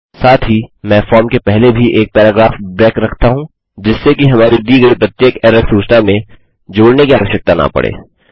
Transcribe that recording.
साथ ही मैं फॉर्म के पहले भी एक पैराग्राफ ब्रेक रखता हूँ जिससे कि हमारी दी गयी प्रत्येक एरर सूचना में जोड़ने की आवश्यकता न पड़े